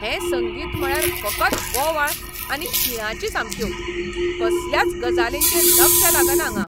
हें संगीत म्हळ्यार फकत बोवाळ आनी किळांची सामक्यो. कसल्याच गजालींचेर लक्ष लागना हांगां.